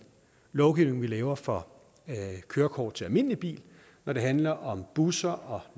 lovgivning vi laver for kørekort til almindelig bil når det handler om busser og